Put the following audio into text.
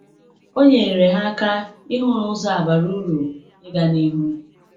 O nyere ha aka ịhụ na ụzọ a bara uru ịga n’ihu.